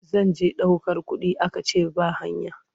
Zan je ɗaukar kuɗi aka ce ba hanya.